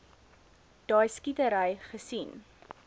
daai skietery gesien